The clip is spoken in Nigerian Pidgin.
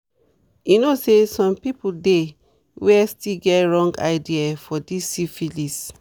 you know say some people dey where still get wrong ideas for this syphilis